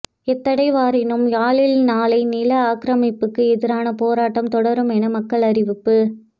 எத்தடை வரினும் யாழில் நாளை நில ஆக்கிரமிப்புக்கு எதிரான போராட்டம் தொடருமென மக்கள் அறிவிப்பு